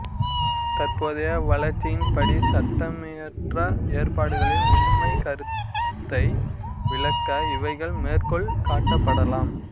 தற்போதைய வளர்ச்சியின் படி சட்டமியற்ற ஏற்பாடுகளின் உண்மைக் கருத்தை விளக்க இவைகள் மேற்கோள் காட்டப்படலாம்